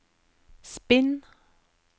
spinn